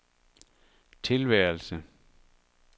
tilværelse